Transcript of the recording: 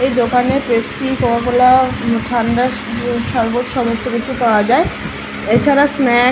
এই দোকানে Pepsi Coca Cola ঠান্ডা সরবত সমস্ত কিছু পাওয়া যায় এছাড়া স্ন্যাক --